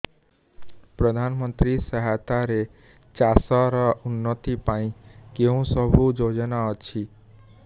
ପ୍ରଧାନମନ୍ତ୍ରୀ ସହାୟତା ରେ ଚାଷ ର ଉନ୍ନତି ପାଇଁ କେଉଁ ସବୁ ଯୋଜନା ଅଛି